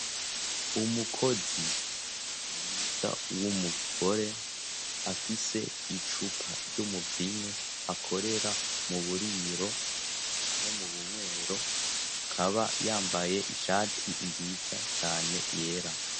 umukozi mwiza w'umugore afise icupa ry'umuvinyu akorera mu buriro no mu bumwero akaba yambaye ishati nziza cyane yera